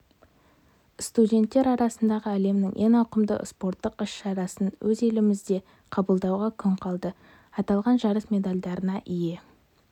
студенттер арасындағы әлемнің ең ауқымды спорттық іс-шарасын өз елімізде қабылдауға күн қалды аталған жарыс медальдарына ие